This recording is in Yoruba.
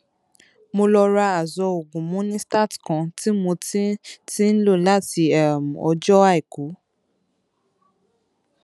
mo lọ ra azo oògùn monistat kan tí mo ti ti ń lò láti um ọjọ àìkú